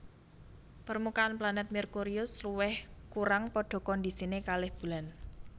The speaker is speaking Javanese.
Permukaan planet Merkurius lewih kurang padha kondisine kalih Bulan